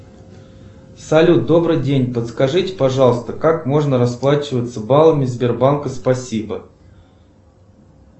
салют добрый день подскажите пожалуйста как можно расплачиваться баллами сбербанка спасибо